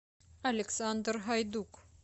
александр гайдук